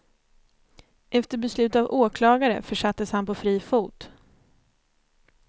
Efter beslut av åklagare försattes han på fri fot.